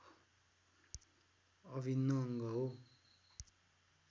अभिन्न अङ्ग हो